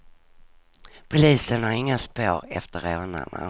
Polisen har inga spår efter rånarna.